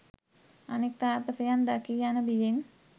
අනෙක් තාපසයන් දකී යන බියෙන්